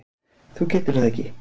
Þú getur það ekki.